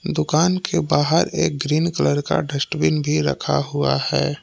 दुकान के बाहर एक ग्रीन कलर का डस्टबिन भी रखा हुआ है।